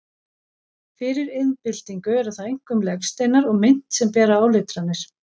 Fyrir iðnbyltingu eru það einkum legsteinar og mynt sem bera áletranir.